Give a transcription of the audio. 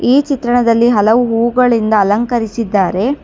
ಈ ಚಿತ್ರಣದಲ್ಲಿ ಹಲವು ಹೂಗಳಿಂದ ಅಲಂಕರಿಸಿದ್ದಾರೆ.